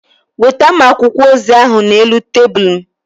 Weta m akwụkwọ ozi ahụ n'elu tebụl m.